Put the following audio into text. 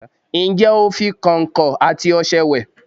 Ǹjé o fi kọ̀ǹkọ̀ àti ọṣẹ wẹ̀?